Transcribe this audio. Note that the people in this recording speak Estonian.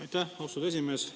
Aitäh, austatud esimees!